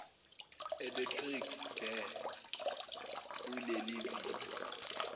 electric ge kuleliviki